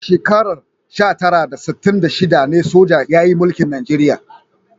A shekarar sha tara da sittin da shida ne soja ya mulki Najeriya.